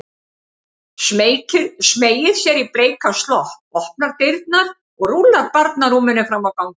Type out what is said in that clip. Smeygir sér í bleikan slopp, opnar dyrnar og rúllar barnarúminu fram á ganginn.